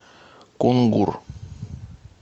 кунгур